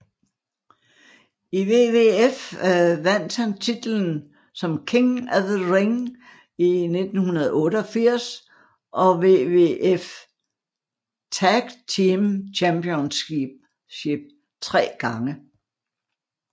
I WWF vandt han titlen som King of the Ring i 1988 og WWF Tag Team Championship tre gange